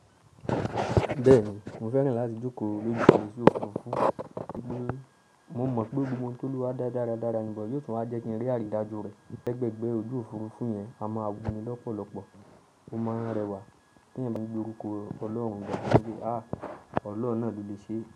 Bẹ́ẹ̀ni, mo fẹ́ràn láti jókòó lójú oju òfurufú. Mo mọ̀ pé gbogbo ohun tó dúró dáradára ní yóò tún wáa jẹ́ kí n rí àrídájú rẹ̀. Lẹgbẹẹgbẹ ojú òfurufú yẹn a ma à wu ni lọ́pọ̀lọ́pọ̀, ó máa ń rẹwà. Kí ènìyàn fi bu orúkọ Ọlọ́run dà, pé kí í ha! Ọlọ́run náà ló lè ṣe é.